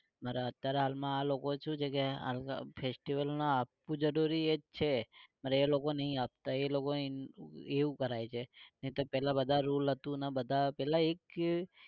મારે અત્યારે હાલ માં આ લોકો શું છે કે આ લોકો festival માં આપવું જરૂરી એ છે પર એ લોકો નઈ આપતા એ લોકો એવું કરાવે છે. નઈ તો પેલા બધા rule હતું ને બધા પેલા એક